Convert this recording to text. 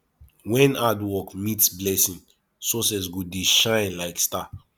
wen hard work meet blessing success go dey shine like star